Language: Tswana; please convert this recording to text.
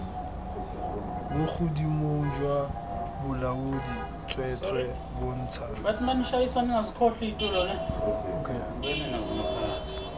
bogodimong jwa bolaodi tsweetswee bontsha